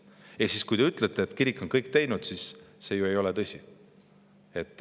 Ehk siis, kui te ütlete, et kirik on kõik teinud, siis see ei ole ju tõsi.